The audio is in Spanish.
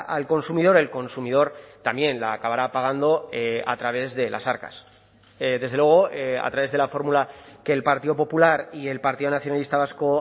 al consumidor el consumidor también la acabará pagando a través de las arcas desde luego a través de la fórmula que el partido popular y el partido nacionalista vasco